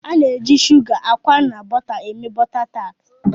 Ana eji Suga, akwa na bóta eme bôta tart.